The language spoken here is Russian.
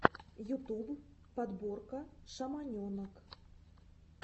ютуб подборка шаманенок